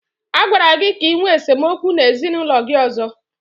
Agwara gị ka ịnwe esemokwu n'ezinaụlọ gị ọzọ!